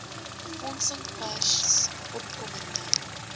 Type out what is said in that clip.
befondsing versus opkomende